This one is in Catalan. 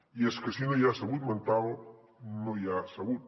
i és que si no hi ha salut mental no hi ha salut